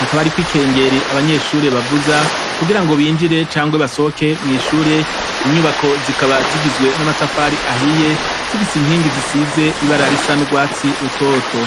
hakaba hariko ikengeri abanyeshure bavuza kugirango binjire canke basohoke mwishure ninyubako zikaba zigizwe namatafari ahiye zifise inkingi zisize ibara risa nurwatsi rutoto